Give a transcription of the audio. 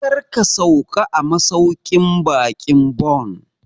Kar ka sauka a masauƙin baƙin Bon!